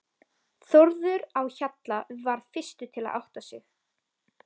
Þórður á Hjalla varð fyrstur til að átta sig.